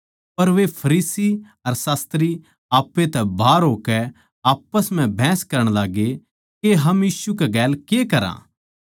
पर वे फरीसी अर शास्त्री आप्पै तै बाहर होकै आप्पस म्ह बहस करण लाग्गे के हम यीशु कै गेल के करा